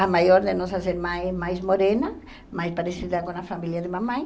A maior de nossas irmãs é mais morena, mais parecida com a família de mamãe.